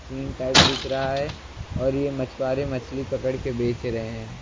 Scene type दिख रहा है और ये मछुआरे मछली पकड़ कर बेच रहे हैं।